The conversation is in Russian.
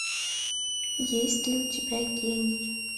есть ли у тебя гений